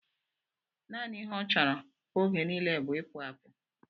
Nanị ihe ọ chọrọ oge nile bú ipu apụ